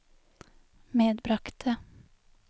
medbragte